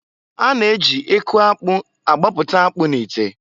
A na- eji eku akpụ agbapụta akpụ n'ite.